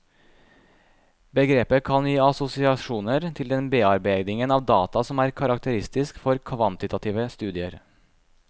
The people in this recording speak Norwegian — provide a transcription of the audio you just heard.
Begrepet kan gi assosiasjoner til den bearbeidingen av data som er karakteristisk for kvantitative studier.